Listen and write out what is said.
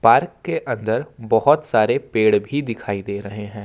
Park के अंदर बहुत सारे पेड़ भी दिखाई दे रहे हैं।